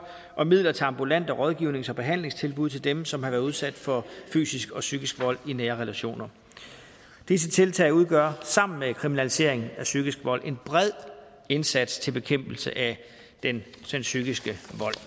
og midler til ambulant rådgivnings og behandlingstilbud til dem som har været udsat for fysisk og psykisk vold i nære relationer disse tiltag udgør sammen med kriminaliseringen af psykisk vold en bred indsats til bekæmpelse af den psykiske